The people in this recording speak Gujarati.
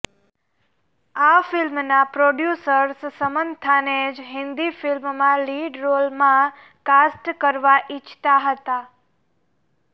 આ ફિલ્મના પ્રોડ્યૂસર્સ સમાંથાને જ હિન્દી ફિલ્મમાં લીડ રોલમાં કાસ્ટ કરવા ઇચ્છતા હતા